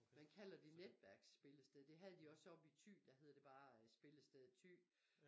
Man kalder det netværksspillested det havde de også oppe i Thy der hedder det bare spillested Thy